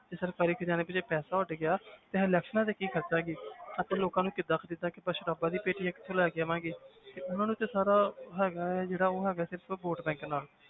ਜੇ ਸਰਕਾਰੀ ਖ਼ਜਾਨੇ ਵਿੱਚੋਂ ਪੈਸਾ ਉੱਡ ਗਿਆ ਤੇ elections ਤੇ ਕੀ ਖ਼ਰਚਾਂਗੇ ਅਤੇ ਲੋਕਾਂ ਨੂੰ ਕਿੱਦਾਂ ਖ਼ਰੀਦਾਂਗੇ ਆਪਾਂ ਸਰਾਬਾਂ ਦੀਆਂ ਪੇਟੀਆਂ ਕਿੱਥੋਂ ਲੈ ਕੇ ਆਵਾਂਗੇ ਤੇ ਉਹਨਾਂ ਨੂੰ ਤੇ ਸਾਰਾ ਹੈਗਾ ਹੈ ਜਿਹੜਾ ਉਹ ਹੈਗਾ ਸਿਰਫ਼ vote